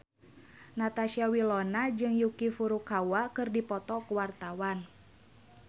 Natasha Wilona jeung Yuki Furukawa keur dipoto ku wartawan